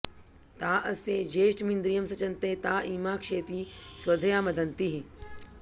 ता अस्य ज्येष्ठमिन्द्रियं सचन्ते ता ईमा क्षेति स्वधया मदन्तीः